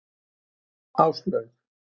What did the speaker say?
Áslaug